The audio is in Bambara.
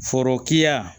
Forokiya